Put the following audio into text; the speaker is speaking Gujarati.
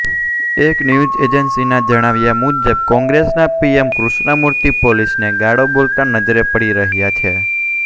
એક ન્યઝ એજાન્સિના જણાવ્યા મુજબ કોંગ્રેસના પીએન કૃષ્ણમૂર્તિ પોલીસને ગાળો બોલતા નજરે પડી રહ્યાં છે